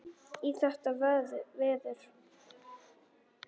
Í þetta veður?